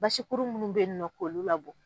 Basikuru minnu bɛ yen nɔ k'olu labɔ.